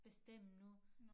Bestemme nu